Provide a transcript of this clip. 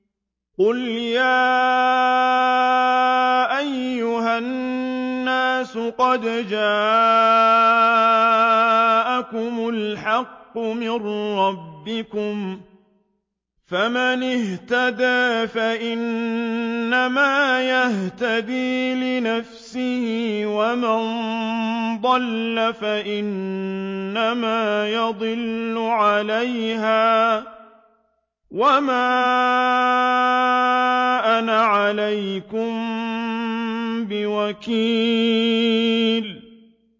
قُلْ يَا أَيُّهَا النَّاسُ قَدْ جَاءَكُمُ الْحَقُّ مِن رَّبِّكُمْ ۖ فَمَنِ اهْتَدَىٰ فَإِنَّمَا يَهْتَدِي لِنَفْسِهِ ۖ وَمَن ضَلَّ فَإِنَّمَا يَضِلُّ عَلَيْهَا ۖ وَمَا أَنَا عَلَيْكُم بِوَكِيلٍ